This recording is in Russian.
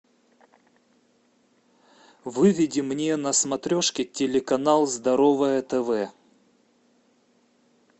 выведи мне на смотрешке телеканал здоровое тв